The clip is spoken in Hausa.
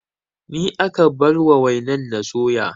Ni aka bar wa wainar na soya